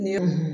Ni